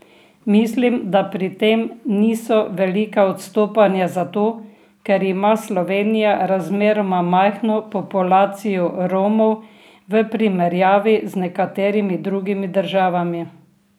Mislim, da pri tem niso velika odstopanja zato, ker ima Slovenija razmeroma majhno populacijo Romov v primerjavi z nekaterimi drugimi državami.